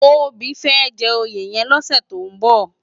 Tobi fè jè óyé yèn lòsè tó n bò